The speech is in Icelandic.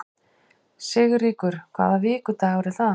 Sigríkur, hvaða vikudagur er í dag?